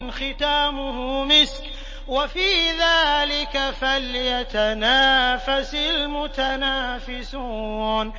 خِتَامُهُ مِسْكٌ ۚ وَفِي ذَٰلِكَ فَلْيَتَنَافَسِ الْمُتَنَافِسُونَ